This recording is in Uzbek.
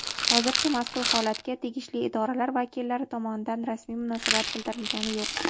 Hozircha mazkur holatga tegishli idoralar vakillari tomonidan rasmiy munosabat bildirilgani yo‘q.